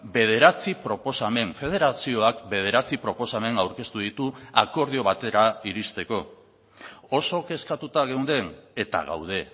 bederatzi proposamen federazioak bederatzi proposamen aurkeztu ditu akordio batera iristeko oso kezkatuta geunden eta gaude